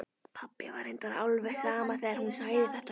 Pabba var reyndar alveg sama þegar hún sagði þetta.